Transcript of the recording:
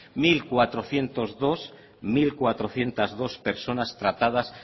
mil cuatrocientos dos personas tratadas